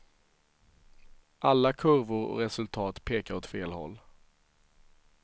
Alla kurvor och resultat pekar åt fel håll.